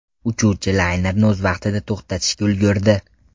Uchuvchi laynerni o‘z vaqtida to‘xtatishga ulgurdi.